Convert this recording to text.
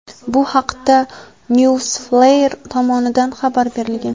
Bu haqda "Newsflare" tomonidan xabar berilgan.